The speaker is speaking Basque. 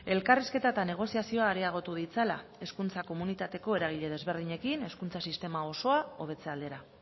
elkarrizketa eta negoziazioa areagotu ditzala hezkuntza komunitateko eragile desberdinekin hezkuntza sistema osoa hobetze aldera